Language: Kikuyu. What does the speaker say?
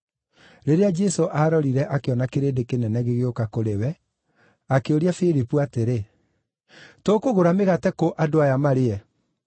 Rĩrĩa Jesũ aarorire akĩona kĩrĩndĩ kĩnene gĩgĩũka kũrĩ we, akĩũria Filipu atĩrĩ, “Tũkũgũra mĩgate kũ andũ aya marĩe?”